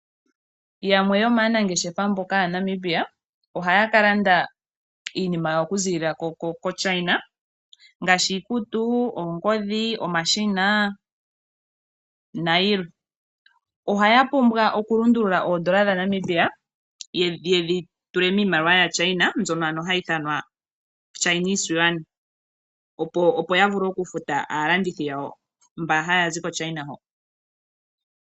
Yamwe yomaanangeshefa mboka ya Namibia ohaya ka landa iinima yawo oku ziilila koChina, ngaashi iikutu, oongodhi, omashina nayilwe. Ohaya pumbwa oku lundulula oondola dha Namibia yedhi tule miimaliwa yaChina, mbyono ano hayi ithamwa Chinese Yuan. Opo ya vule oku futa aalandithi yawo mba haya zi koChina ho.